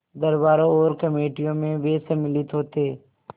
दरबारों और कमेटियों में वे सम्मिलित होते